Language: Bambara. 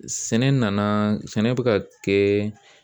Sɛnɛ nana sɛnɛ bɛ ka kɛ